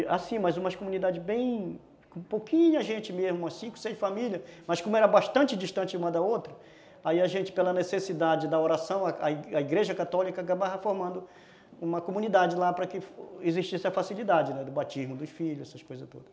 Assim, mas umas comunidades bem... Com pouquinha gente mesmo, com cinco, seis famílias, mas como era bastante distante uma da outra, aí a gente, pela necessidade da oração, a Igreja Católica acaba reformando uma comunidade lá para que existisse a facilidade, né, do batismo dos filhos, essas coisas todas.